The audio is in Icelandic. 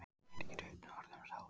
Smit getur einnig orðið um sár.